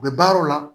U bɛ baaraw la